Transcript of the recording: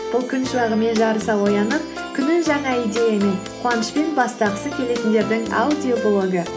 бұл күн шуағымен жарыса оянып күнін жаңа идеямен қуанышпен бастағысы келетіндердің аудиоблогы